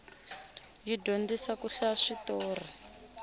yi dyondzisa ku hlaya switorhi